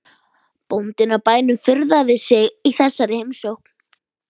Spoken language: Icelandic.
Bóndinn á bænum furðaði sig á þessari heimsókn.